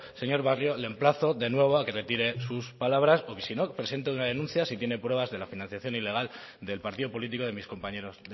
señor barrio le emplazo de nuevo a que retire sus palabras porque si no presente una denuncia si tiene pruebas de la financiación ilegal del partido político de mis compañeros